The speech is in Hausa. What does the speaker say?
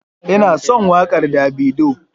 Ina son wakar davido.